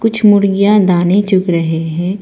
कुछ मुर्गियां दाने चुग रहें हैं।